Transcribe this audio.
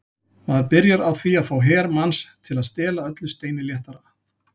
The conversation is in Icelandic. Maður byrjar á því að fá her manns til að stela öllu steini léttara.